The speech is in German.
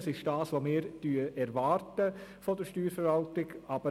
Das entspricht dem, was wir auch von der Steuerverwaltung erwarten.